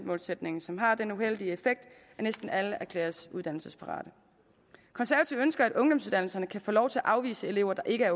målsætningen som har den uheldige effekt at næsten alle erklæres uddannelsesparate konservative ønsker at ungdomsuddannelserne kan få lov til at afvise elever der ikke